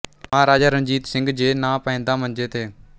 ਮਹਾਰਾਜਾ ਰਣਜੀਤ ਸਿੰਘ ਜੇ ਨਾ ਪੈਂਦਾ ਮੰਜੇ ਤੇ